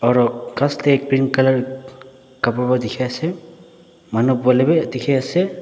aro ghas tae green colour kapra pa dikhiase manu boilae bi dikhiase.